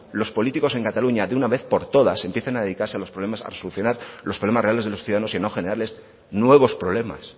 los políticos en cataluña de una vez por todas empiecen a dedicarse a solucionar los problemas reales de los ciudadanos y no a generarles nuevos problemas